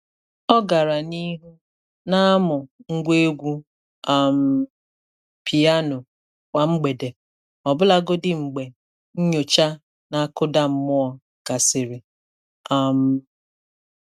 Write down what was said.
Ọ gara n'ihu na-amu Ngwa egwu um pịáno kwa mgbede, ọbụlagodi mgbe nyocha na-akụda mmụọ gasịrị. um